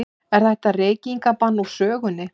Er þetta reykingabann úr sögunni?